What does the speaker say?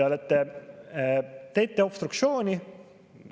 Te teete obstruktsiooni.